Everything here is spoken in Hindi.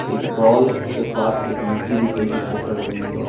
एक बॉल के पास एक युवती भी दिखाई पड़ रही है।